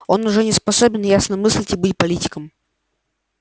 он уже не способен ясно мыслить и быть политиком